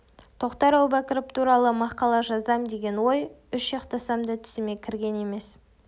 тоқтар әубәкіров туралы мақала жазамын деген ой үш ұйықтасам түсіме кірген емес